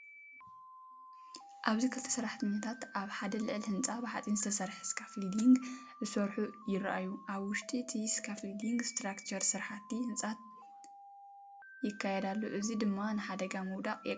ኣብዚ ክልተ ሰራሕተኛታት ኣብ ሓደ ልዑል ህንጻ ብሓጺን ዝተሰርሐ ስካፎልዲንግ ክሰርሑ ይረኣዩ። ኣብ ውሽጢ እቲ ስካፎልዲንግ ስትራክቸር ስራሕቲ ህንፀት ይካየድ ኣሎ፣ እዚ ድማ ንሓደጋ ምውዳቕ የቃልዕ እዩ።